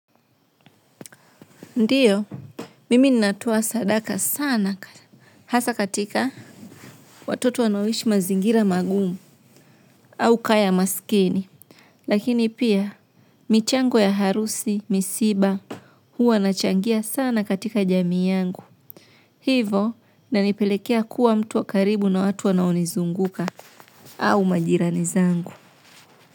Ndio, mimi natoa sadaka sana hasa katika watoto wanaoishi mazingira magumu au ka ya masikini. Lakini pia, michango ya harusi, misiba huwa nachangia sana katika jamii yangu. Hivo inanipelekea kuwa mtu wa karibu na watu wanao nizunguka au majirani zangu.